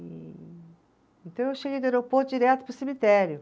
E então eu cheguei do aeroporto direto para o cemitério.